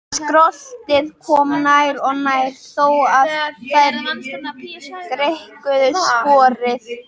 Skröltið kom nær og nær þó að þær greikkuðu sporið.